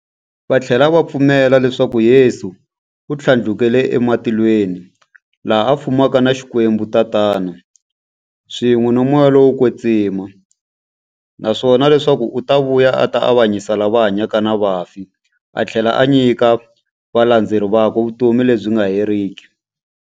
Vathlela va pfumela leswaku Yesu u thlandlukele ematilweni, laha a fumaka na Xikwembu-Tatana, swin'we na Moya lowo kwetsima, naswona leswaku u ta vuya a ta avanyisa lava hanyaka na vafi athlela a nyika valandzeri vakwe vutomi lebyi nga heriki.